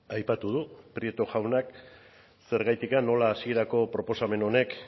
aipatu du prieto jaunak zergaitik nola hasierako proposamen honek